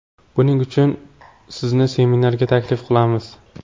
Buning uchun sizni seminarga taklif qilamiz.